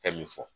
Bɛɛ bi fɔ